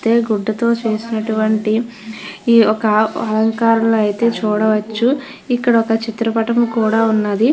తే గుడ్డతో చేసినటువంటి ఈ యొక్క అలంకరణ అయితే చూడవచ్చు ఇక్కడ ఒక చిత్రపటం కూడ ఉన్నది.